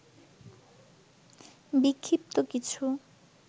বিক্ষিপ্ত কিছু